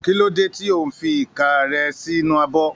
Kí ló dé tí ò ń fi ìka rẹ sínú abọ́?